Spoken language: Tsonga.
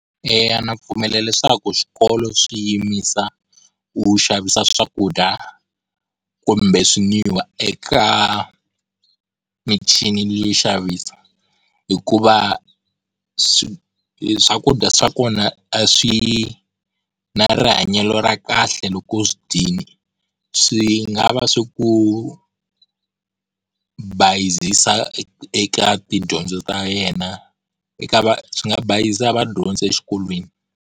Eya na pfumela leswaku swikolo swi yimisa ku xavisa swakudya kumbe swi n'wiwa eka michini yo xavisa, hikuva swakudya swa kona a swi na rihanyo ra kahle loko u swi dyile. Swi nga va swi ku bayizisa eka tidyondzo ta yena eka swi nga bayizisa vadyondzi exikolweni.